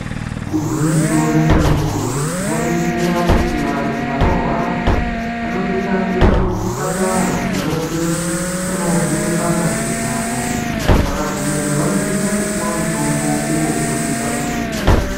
Igwinyiso remene mene tikaningira kuti vantu vanorwara vanosisa kuenda kuchipatara kuti vaende kunovhenekwa ngazi dzavo vakagumeyo vanosisa kupiwa mitombo uyo unosisa kuvabetsera .